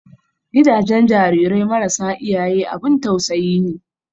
Gidajen jarirai marasa iyaye abun tausayi ne.